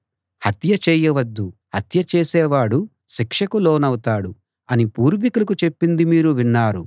హత్య చేయవద్దు హత్య చేసేవాడు శిక్షకు లోనవుతాడు అని పూర్వికులకు చెప్పింది మీరు విన్నారు